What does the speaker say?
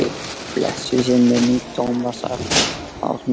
Blessuð sé minning Tómasar Árna.